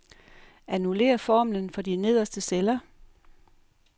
Annullér formlen for de nederste celler.